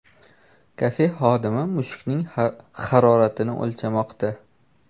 Kafe xodimi mushukning haroratini o‘lchamoqda.